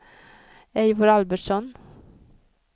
Eivor Albertsson